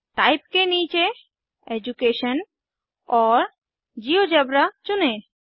type के नीचे education और जियोजेब्रा चुनें